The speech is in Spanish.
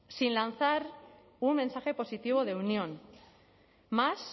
sin lanzar un mensaje positivo de unión más